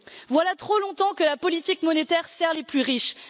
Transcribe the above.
Voilà trop longtemps que la politique monétaire sert les plus riches.